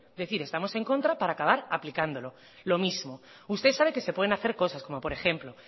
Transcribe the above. decir estamos en contra para acabar aplicándolo lo mismo usted sabe que se pueden hacer cosas como por ejemplo